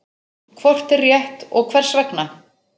Hvort er rétt og hvers vegna?